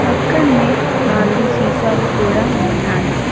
పక్కన్నే నాలుగు సీసాలు కూడా ఉన్నాయి.